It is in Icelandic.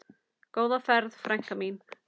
Góða ferð, frænka mín.